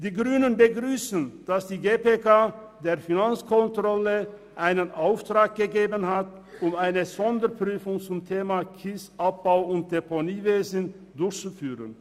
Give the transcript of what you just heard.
Die Grünen begrüssen, dass die GPK der Finanzkontrolle den Auftrag gegeben hat, eine Sonderprüfung zum Thema «Kiesabbau- und Deponiewesen» durchzuführen.